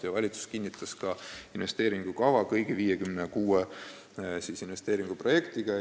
Valitsus kinnitas ka investeeringukava kõigi 56 investeeringuprojektiga.